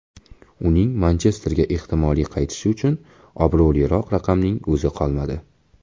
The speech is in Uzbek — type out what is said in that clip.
Uning Manchesterga ehtimoliy qaytishi uchun obro‘liroq raqamning o‘zi qolmadi.